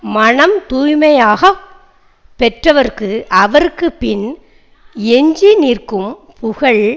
மனம் தூய்மையாக பெற்றவர்க்கு அவர்க்குப் பின் எஞ்சி நிற்கும் புகழ்